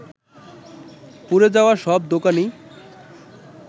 পুড়ে যাওয়া সব দোকানই